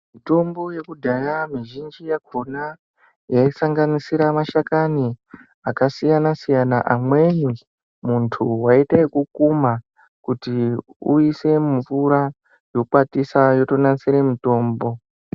Mitombo yekudhaya mizhinji yakona yaisanganisira mashakani akasiyana-siyana. Amweni muntu vaiite ekukuma kuti uise mumvura yokwatisa yotonasire mutombo.